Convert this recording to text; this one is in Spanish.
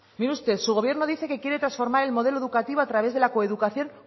mire usted su gobierno dice que quiere transformar el modelo educativo a través de la coeducación